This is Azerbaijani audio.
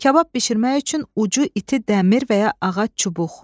kabab bişirmək üçün ucu iti dəmir və ya ağac çubuq.